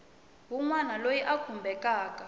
wun wana loyi a khumbekaku